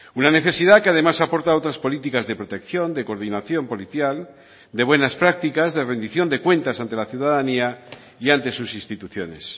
una necesidad que además aporta otras políticas de protección de coordinación policial de buenas prácticas de rendición de cuentas ante la ciudadanía y ante sus instituciones